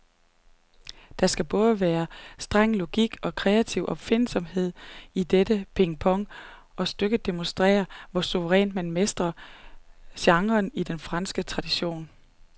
Der skal både streng logik og kreativ opfindsomhed til dette pingpong, og stykket demonstrerer, hvor suverænt man mestrer genren i den franske tradition.